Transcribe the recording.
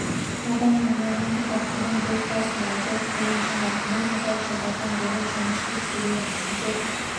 адам өмірінің ұзақтығын дөп басып айту қиын шығар мен ұзақ жылдардан бері жұмыс істеп келемін сіздер